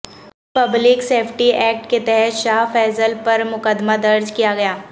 public safety act کے تحت شاہ فیصل پر مقدمہ درج کیا گیا